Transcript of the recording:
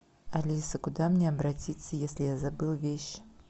алиса куда мне обратиться если я забыл вещи